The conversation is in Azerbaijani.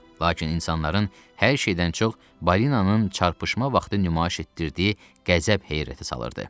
Lakin insanların hər şeydən çox balinanın çarpışma vaxtı nümayiş etdirdiyi qəzəb heyrətə salırdı.